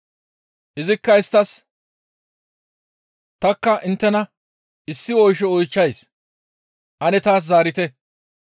Izikka isttas, «Tanikka inttena issi oysho oychchays; ane taas zaarite.